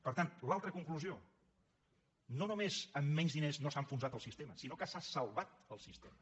per tant l’altra conclusió no només amb menys diners no s’ha enfonsat el sistema sinó que s’ha salvat el sistema